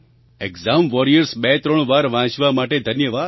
exam Warriors 23 વાર વાંચવા માટે ધન્યવાદ